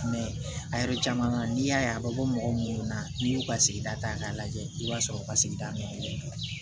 a yɛrɛ caman na n'i y'a ye a bɛ bɔ mɔgɔ minnu na n'i y'u ka sigida ta k'a lajɛ i b'a sɔrɔ u ka sigida min do